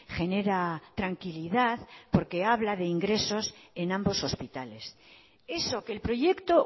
genera tranquilidad porque habla de ingresos en ambos hospitales eso que el proyecto